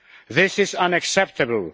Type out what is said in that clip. This is unacceptable.